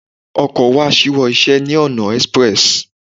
Ọkọ wa ṣíwọ́ iṣẹ́ ní ọ̀nà express.